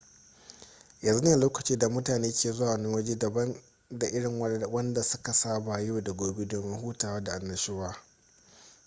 yanzu ne lokacin da mutane ke zuwa wani waje daban da irin wanda su ka saba yau da gobe domin hutawa da annashuwa